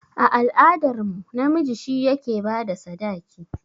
A al'adar mu, namiji shi yake bada sadaki